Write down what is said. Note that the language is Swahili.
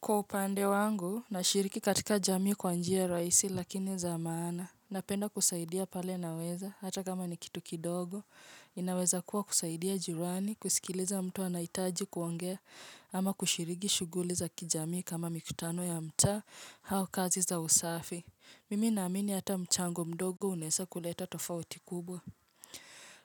Kwa upande wangu, nashiriki katika jamii kwa njia rahisi lakini zaa maana. Napenda kusaidia pale naweza, hata kama ni kitu kidogo. Inaweza kuwa kusaidia jirani, kusikiliza mtu anahitaji kuongea, ama kushiriki shughuli za kijamii kama mikutano ya mtaa, au kazi za usafi. Mimi naamini hata mchango mdogo unaweza kuleta tofauti kubwa.